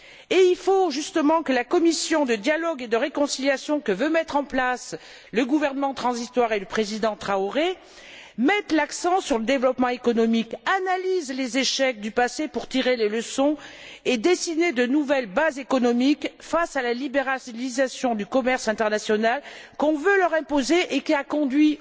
Et il faut justement que la commission de dialogue et de réconciliation que veulent mettre en place le gouvernement transitoire et le président Traoré mette l'accent sur le développement économique, analyse les échecs du passé pour en tirer les leçons et dessiner de nouvelles bases économiques, face à la libéralisation du commerce international qu'on veut leur imposer et qui a conduit